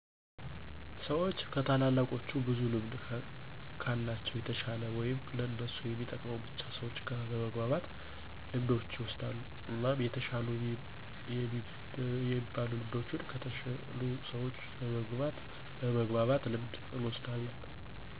ሰዎች ከታላላቆቹ ብዙ ልምድ ከለቸው የተሸለ ወይም ለእነሱ የሚጠቅመውን ብቻ ሰዎች ጋር በመግባባት ልምዶችን ይወስዳሉ። እናም የተሻሉ የሚበሉ ልምዶችን ከተሸሉ ሰዎች በመግባባት ልምድ እወስዳለሁ